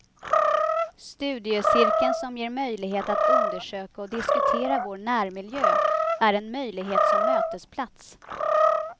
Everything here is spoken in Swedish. Studiecirkeln som ger möjlighet att undersöka och diskutera vår närmiljö är en möjlighet som mötesplats.